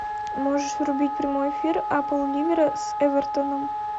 можешь врубить прямой эфир апл ливера с эвертоном